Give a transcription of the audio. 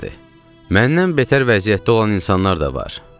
Məndən betər vəziyyətdə olan insanlar da var.